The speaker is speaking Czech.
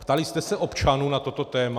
Ptali jste se občanů na toto téma?